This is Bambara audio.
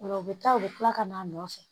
Ola u bɛ taa u bɛ tila ka n'a nɔfɛ